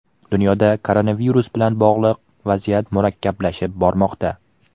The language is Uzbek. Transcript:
Dunyoda koronavirus bilan bog‘liq vaziyat murakkablashib bormoqda.